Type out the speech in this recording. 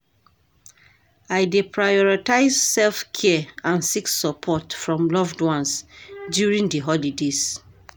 I dey prioritize self-care and seek support from loved ones during di holidays.